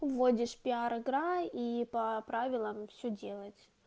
вводишь пиар игра и по правилам все делать